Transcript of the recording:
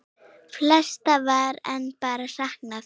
Flestra var enn bara saknað.